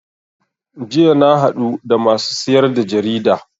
Jiya na haɗu da masu siyar da jarida